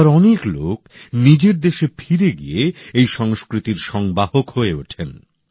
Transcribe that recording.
আবার অনেক লোক নিজের দেশে ফিরে গিয়ে এই সংস্কৃতির সংবাহক হয়ে ওঠেন